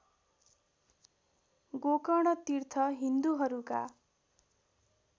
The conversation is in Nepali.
गोकर्ण तीर्थ हिन्दूहरूका